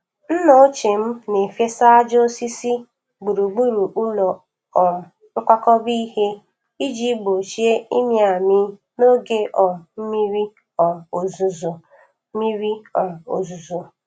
Nna ochie m na-efesa ájá osisi gburugburu ụlọ um nkwakọba ihe iji gbochie ịmị amị n’oge um mmiri um ozuzo. mmiri um ozuzo.